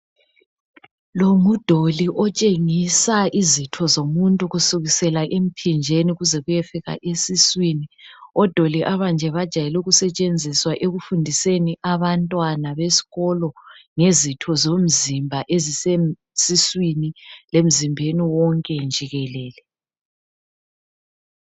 Lo ngudoli otshengisa izitho zomuntu kusukusela emphinjeni kuze kuyefika esiswini. Odoli abanje bajayele ukusetshenziswa ekufundiseni abantwana besikolo, ngezitho zomzimba ezisesiswini lemzimbeni wonke njikelele.